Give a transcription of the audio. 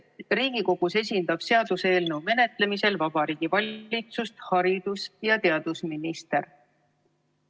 Riigikogus esindab seaduseelnõu menetlemisel Vabariigi Valitsust haridus- ja teadusminister.